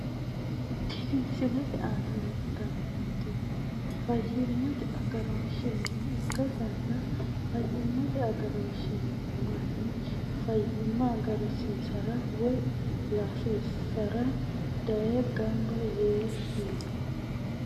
Tini misilete aana leeltani nooti fayimete agarooshi mine ikasina fayimate agarooshi mine mannu fayimma agarsiisirara woyi layiisisirara daye ganba yee no.